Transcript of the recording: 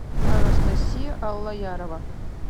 анастасия аллаярова